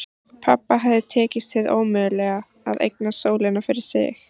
Pabba hafði tekist hið ómögulega: að eignast sólina fyrir sig.